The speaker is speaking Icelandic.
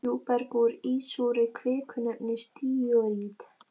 Djúpberg úr ísúrri kviku nefnist díorít.